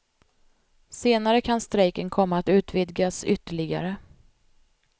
Senare kan strejken komma att utvidgas ytterligare.